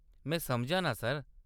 में समझनां, सर।